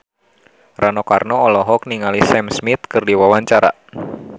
Rano Karno olohok ningali Sam Smith keur diwawancara